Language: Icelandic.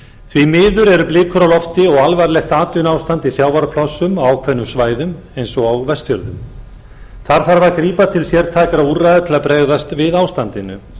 því miður eru blikur á lofti og alvarlegt atvinnuástand i sjávarplássum á ákveðnum svæðum eins og á vestfjörðum þar þarf að grípa til sértækra úrræða til að bregðast við ástandinu